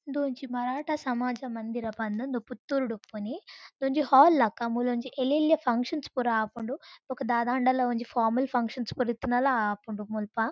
ಇಂದು ಒಂಜಿ ಮರಾಠ ಸಮಾಜ ಮಂದಿರ ಪಂದ್ ಇಂದು ಪುತ್ತೂರುಡ್ ಉಪ್ಪುನಿ ಇಂದು ಒಂಜಿ ಹಾಲ್ ಲೆಕ ಮೂಲೊಂಜಿ ಎಲೆಲ್ಯ ಫಂಕ್ಷನ್ಸ್ ಪುರ ಆಪುಂಡು ಬೊಕ ದಾದಾಂಡಲ ಒಂಜಿ ಫಾರ್ಮಲ್ ಫಂಕ್ಷನ್ಸ್ ಪುರ ಇತ್ತ್ಂಡಲ ಆಪುಂಡು ಮುಲ್ಪ.